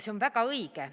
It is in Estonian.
See on väga õige.